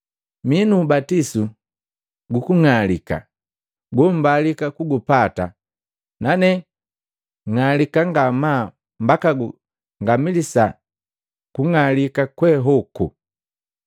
Mii nuubatisu gukung'alika gombalika kugupata, nane ng'alika ngamaa mbaka ngamilisa kung'alika kwe hoku!